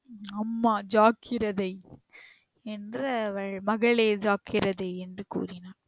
அம்மா ஜாக்கிரதை என்று அவள் மகளே ஜாக்கிரதை என்று கூறினாள்